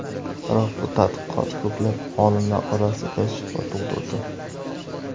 Biroq bu tadqiqot ko‘plab olimlar orasida shubha tug‘dirdi.